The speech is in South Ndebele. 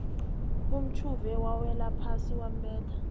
umtjhuve wawelaphasi wambetha